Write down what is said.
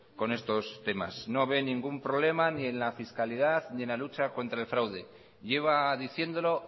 con estos temas no ve ningún problema ni en la fiscalidad ni en la lucha contra el fraude lleva diciéndolo